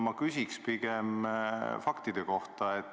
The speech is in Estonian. Ma küsin pigem faktide kohta.